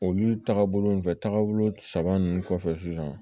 Olu tagabolo fɛ taagabolo saba ninnu kɔfɛ sisan